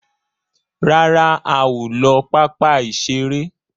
ràrá a o ló papa iṣere